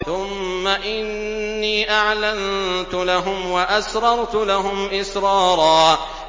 ثُمَّ إِنِّي أَعْلَنتُ لَهُمْ وَأَسْرَرْتُ لَهُمْ إِسْرَارًا